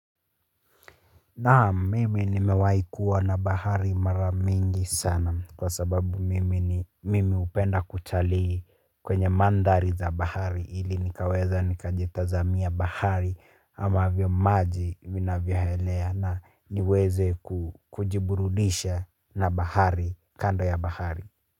Naam mimi nimewai kuwa na bahari mara mingi sana kwa sababu mimi ni mimi hupenda kutalii kwenye mandhari za bahari ili nikaweze nikajitazamia bahari amavyo maji vinavyohelea na niweze kujiburudisha na bahari kando ya bahari.